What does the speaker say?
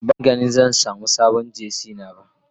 Ban gani samun sabon Jersey dina ba.